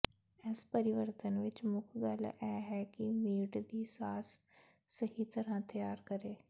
ਇਸ ਪਰਿਵਰਤਨ ਵਿਚ ਮੁੱਖ ਗੱਲ ਇਹ ਹੈ ਕਿ ਮੀਟ ਦੀ ਸਾਸ ਸਹੀ ਤਰ੍ਹਾਂ ਤਿਆਰ ਕਰੇ